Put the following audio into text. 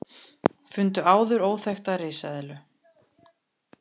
Fundu áður óþekkta risaeðlu